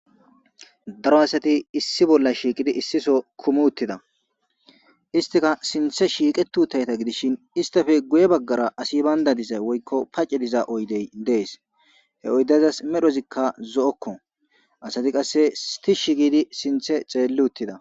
Daro asati issi bolla shiiqidi issiso kumu uttida istika sinthe shiiqetu utayta gidishin istafe guye baggara asi bayndadizay woykko pace diza oydey dees he oydazas medhozikka zo'okko asati qasse stishsh gidi sinthe xeelli uttida.